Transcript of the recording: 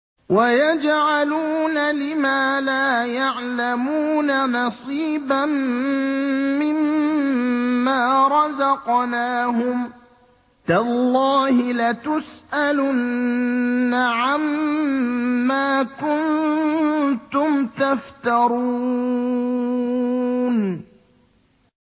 وَيَجْعَلُونَ لِمَا لَا يَعْلَمُونَ نَصِيبًا مِّمَّا رَزَقْنَاهُمْ ۗ تَاللَّهِ لَتُسْأَلُنَّ عَمَّا كُنتُمْ تَفْتَرُونَ